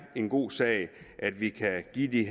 en god sag at vi kan give de